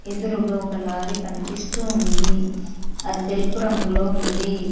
ఎదురుగా ఒక లారీ కనిపిస్తుంది అది తెలుపు రంగులో ఉంది.